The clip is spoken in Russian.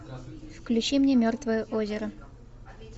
включи мне мертвое озеро